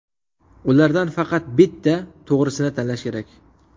Ulardan faqat bitta, to‘g‘risini tanlash kerak.